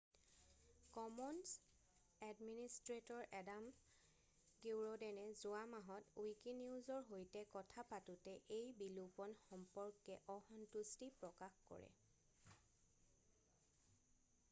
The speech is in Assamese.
কমনছ এডমিনিষ্ট্ৰেটৰ এডাম কিউৰডেনে যোৱা মাহত উইকিনিউজৰ সৈতে কথা পাতোঁতে এই বিলোপণ সম্পৰ্কে অসন্তুষ্টি প্ৰকাশ কৰে